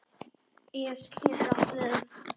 es getur átt við